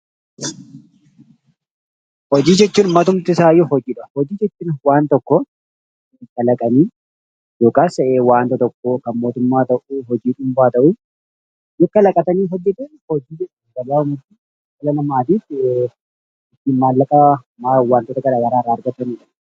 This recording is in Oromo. Hojii jechuun matumti isaayyuu hojiidha. Hojii jechuun waan tokko kalaqanii yookaas waanta tokko kan mootummaa tokko hojii dhuunfaa haa ta'u yoo kalaqatanii hojjetan hojii jechuudha gabaabumatti. Dhala namaatiif yookaan maallaqa waantota gara garaa irraa argataniif.